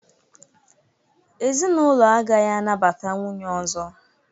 Ezinụlọ agaghị anabata nwunye ọzọ